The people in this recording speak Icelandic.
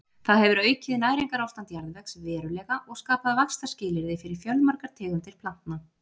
það hefur aukið næringarástand jarðvegs verulega og skapað vaxtarskilyrði fyrir fjölmargar tegundir plantna